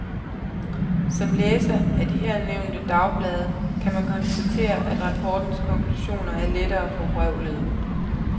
Som læser af de her nævnte dagblade, kan man konstatere, at rapportens konklusioner er lettere forvrøvlede.